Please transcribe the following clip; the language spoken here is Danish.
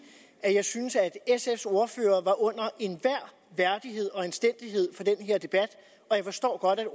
at jeg synes at sfs ordfører var under enhver værdighed og anstændighed for den her debat og jeg forstår godt at